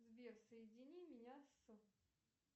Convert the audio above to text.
сбер соедини меня с